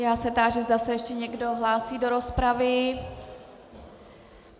Já se táži, zda se ještě někdo hlásí do rozpravy.